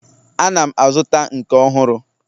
Ana m azụta nke ọhụrụ